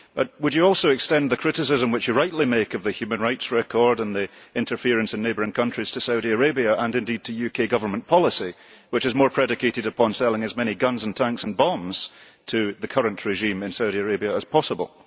Would you also extend the criticism which you rightly make of the human rights record and the interference in neighbouring countries to Saudi Arabia and indeed to UK Government policy, which is more predicated upon selling as many guns, tanks and bombs to the current regime in Saudia Arabia as possible?